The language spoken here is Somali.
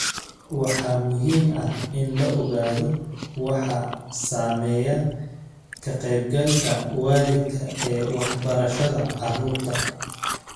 Waxaa muhiim ah in la ogaado waxa saameeya ka-qaybgalka waalidka ee waxbarashada carruurta.